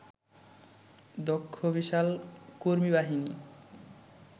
দক্ষ বিশাল কর্মীবাহিনী